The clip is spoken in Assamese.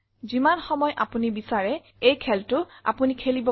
যিমান সময় আমি বিচাৰে এই খেল আপোনি খেলিব পাৰে